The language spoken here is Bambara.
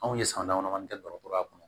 Anw ye san damadɔ kɛ dɔgɔtɔrɔya kɔnɔ